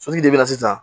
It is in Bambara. Sotigi de bɛ na sisan